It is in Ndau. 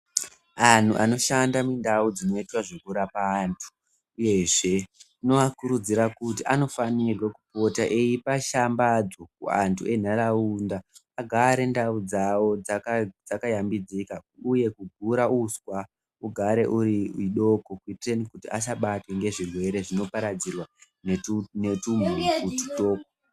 Antu anoshanda mundau dzinoitwa zvekurapwa antu uyezve tinoakurudzira kuti anofanirwe kupota eipa shambadzo kuantu entaraunda kuti agare ndau dzawo dzakayambidzika uye kugura uswa ugare uri idoko kuitira kuti asabatwe ngezvirwere zvinoparadzirwa netumhutu tudoko.